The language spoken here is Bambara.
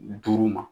Duuru ma